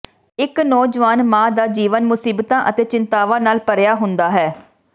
ਇਕ ਨੌਜਵਾਨ ਮਾਂ ਦਾ ਜੀਵਨ ਮੁਸੀਬਤਾਂ ਅਤੇ ਚਿੰਤਾਵਾਂ ਨਾਲ ਭਰਿਆ ਹੁੰਦਾ ਹੈ